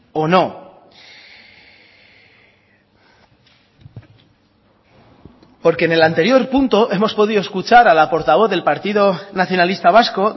o no porque en el anterior punto hemos podido escuchar a la portavoz del partido nacionalista vasco